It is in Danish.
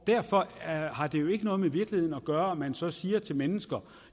derfor har det jo ikke noget med virkeligheden at gøre at man så siger til mennesker